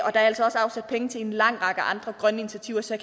er altså også afsat penge til en lang række andre grønne initiativer så